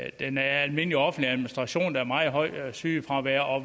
i den almindelige offentlige administration er meget højt sygefravær og